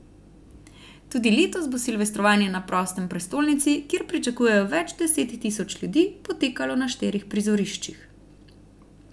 Tudi letos bo silvestrovanje na prostem v prestolnici, kjer pričakujejo več deset tisoč ljudi, potekalo na štirih prizoriščih.